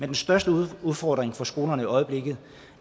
den største udfordring for skolerne i øjeblikket